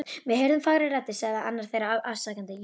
Við heyrðum fagrar raddir sagði annar þeirra afsakandi.